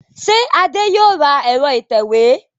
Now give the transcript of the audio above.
Ṣé Adé yóò ra ẹ̀rọ ìtẹ̀wé